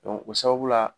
o sababu la